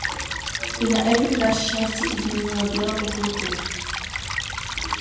и на этот раз счастье изменило белому клыку